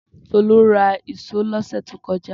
Tolú ra ìṣó lọ́sẹ̀ tó kọjá.